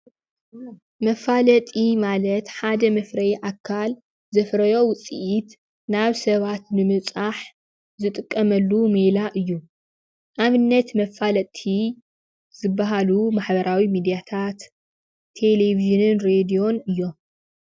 መፋለጢ ማለት ሓደ መፍረዪ ኣካል ዘፍረዮ ውፅኢት ናብ ሰባት ንምብፃሕ ዝጥቀመሉ ሜላ እዩ። ኣብነት መፈለጥቲ ዝበሃሉ ማሕበራዊ ሚድያታት፣ ቴሌቨዥን ሬድዮን እዮም።